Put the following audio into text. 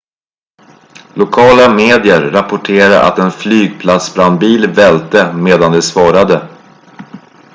lokala medier rapporterar att en flygplatsbrandbil välte medan de svarade